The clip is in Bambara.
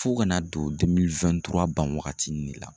Fo kana don ban wagati in de la